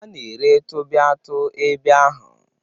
A na-ere tu baị tu ebe ahụ.